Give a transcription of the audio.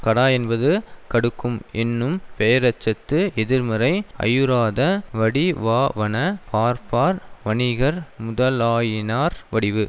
கடா என்பது கடுக்கும் என்னும் பெயரெச்சத்து எதிர்மறை ஐயுறாத வடிவாவன ஃபார்ஃப்பார் வணிகர் முதலாயினார் வடிவு